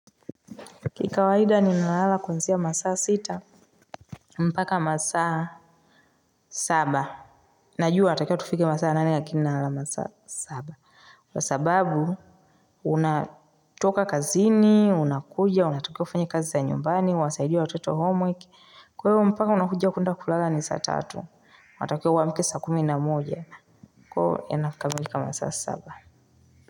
Kikawaida ninalala kuanzia masaa sita. Mpaka masaa Saba. Najua inatakiwa tufike masaa nane lakini nalala masaa saba kwa sababu, unatoka kazini, unakuja, unatokiwa ufunye kazi za nyumbani, unasaidie watoto home work. Kwe hivo mpaka unakuja kuenda kulala ni saa tatu. Matakiwa uwamke saa kumi na moja. Kwa huo nakamilika masaa saba Muzika.